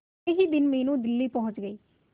अगले ही दिन मीनू दिल्ली पहुंच गए